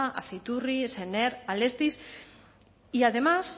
aciturri sener alestis y además